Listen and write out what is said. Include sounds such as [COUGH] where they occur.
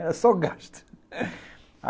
Era só gasto [LAUGHS]